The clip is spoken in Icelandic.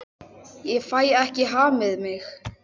Ég fæ ekki hamið mig.